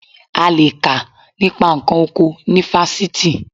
A le è kà nípa nǹkan oko ní fásitì